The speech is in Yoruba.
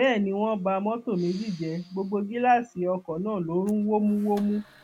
bẹẹ ni wọn ba mọtò méjì jẹ gbogbo gíláàsì ọkọ náà lọ rún wómúwómú